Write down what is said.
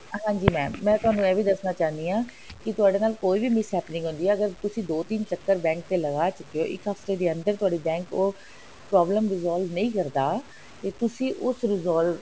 ਹਾਂਜੀ mam ਮੈਂ ਤੁਹਾਨੂੰ ਇਹ ਵੀ ਦੱਸਣਾ ਚਾਹੰਦੀ ਹਾਂ ਕਿ ਤੁਹਾਡੇ ਨਾਲ ਕੋਈ ਵੀ miss happening ਹੁੰਦੀ ਹੈ ਅਗਰ ਤੁਸੀ ਦੋ ਤਿੰਨ ਚੱਕਰ bank ਦੇ ਲਗਾ ਚੁੱਕੇ ਹੋ ਇੱਕ ਹਫਤੇ ਦੇ ਅੰਦਰ ਤੁਹਾਡੀ bank ਉਹ problem resolve ਨਹੀਂ ਕਰਦਾ ਤੇ ਤੁਸੀ ਉਸ resolve